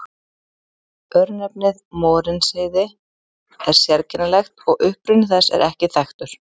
Örnefnið Morinsheiði er sérkennilegt og uppruni þess er ekki þekktur.